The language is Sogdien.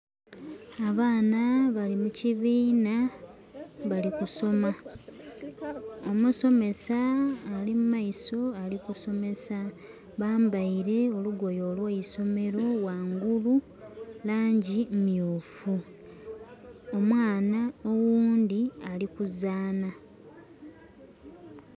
Abaana bali mukibiina bali kusoma. Omusomesa ali mumaiso alikusomesa. Bambaire olugoye olweisomero. Wangulu langi myufu. Omwaana owundi ali kuzaanha.